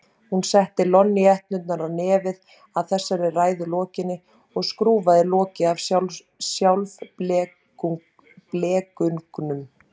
Hún setti lonníetturnar á nefið að þessari ræðu lokinni og skrúfaði lokið af sjálfblekungnum.